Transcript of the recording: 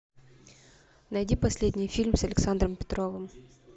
найди последний фильм с александром петровым